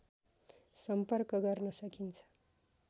सम्पर्क गर्न सकिन्छ